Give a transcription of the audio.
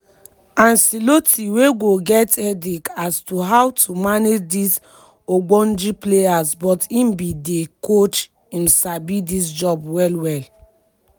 ancelotti wey go get headache as to how to manage dis ogbonge players but im be di coach im sabi dis job well well.